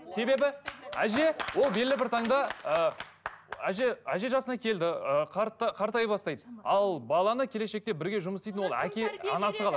себебі әже ол белгілі бір таңда ы әже әже жасына келді ы қартая бастайды ал баланы келешекте бірге жұмыс істейтін ол әке анасы қалады